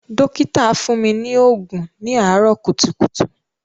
Dọ́kítà fún mi ní òògùn ní àárọ̀ kùtùkùtù.